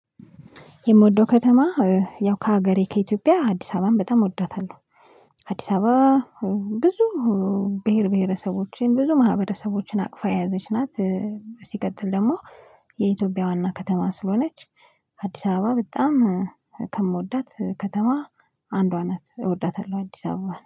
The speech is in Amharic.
የምወደው ከተማ ያው ከሀገሬ ከኢትዮጵያ አዲስ አበባን በጣም እወዳታለሁ አዲስ አበባ ብዙ ብሄር ብሄረሰቦችን ብዙ ማህበረሰቦችን አቅፋ የያዘች ናት። ሲቀጥል ደግሞ የኢትዮጵያ ዋና ከተማ ስለሆነች አዲስ አበባ በጣም ከምወዳት ከተማ አንዷ ናት እወዳታለሁ አዲስ አበባ